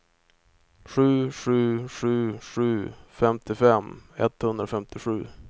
sju sju sju sju femtiofem etthundrafemtiosju